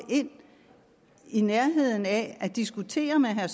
i nærheden af at diskutere med herre